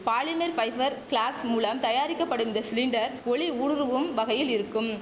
polymer fibre glass மூலம் தயாரிக்கப்படும் இந்த சிலிண்டர் ஒளி ஊடுருவும் வகையில் இருக்கும்